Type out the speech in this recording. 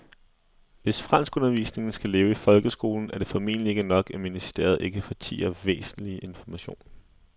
Hvis franskundervisningen skal leve i folkeskolen er det formentlig ikke nok, at ministeriet ikke fortier væsentlig information.